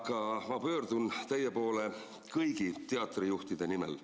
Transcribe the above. Aga ma pöördun teie poole kõigi teatrijuhtide nimel.